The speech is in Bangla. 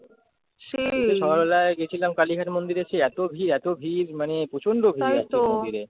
সকালবেলায় গেছিলাম কালীঘাট মন্দিরে সেই এত ভিড় এত ভিড় মানে প্রচন্ড ভিড় মন্দিরে